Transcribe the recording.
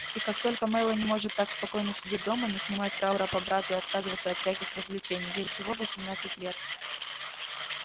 и как только мелани может так спокойно сидеть дома не снимать траура по брату и отказываться от всяких развлечений ей же всего восемнадцать лет